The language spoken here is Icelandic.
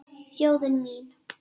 Þjóðin mín.